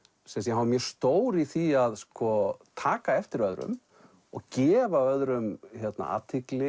hann var mjög stór í því að taka eftir öðrum og gefa öðrum athygli